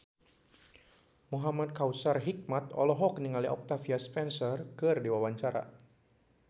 Muhamad Kautsar Hikmat olohok ningali Octavia Spencer keur diwawancara